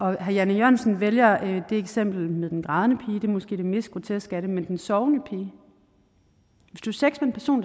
herre jan e jørgensen vælger det eksempel med den grædende pige det er måske det mest groteske af dem men den sovende pige hvis du